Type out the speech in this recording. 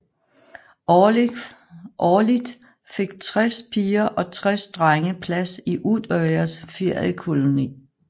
Årligt fik tres piger og tres drenge plads i Utøyas feriekoloni